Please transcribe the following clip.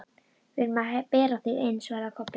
Við erum að bera þig inn, svaraði Kobbi.